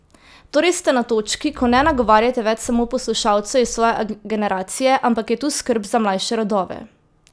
Torej ste na točki, ko ne nagovarjate več samo poslušalcev iz svoje generacije, ampak je tu skrb za mlajše rodove?